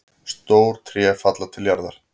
Stór tré falla til jarðar.